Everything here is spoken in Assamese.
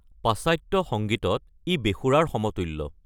পাশ্চাত্য সংগীতত, ই বেসুৰাৰ সমতুল্য।